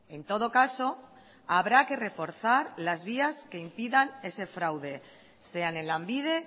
en todo caso habrá que reforzar las vías que impidan ese fraude sean en lanbide